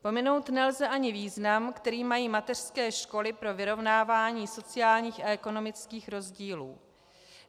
Pominout nelze ani význam, který mají mateřské školy pro vyrovnávání sociálních a ekonomických rozdílů.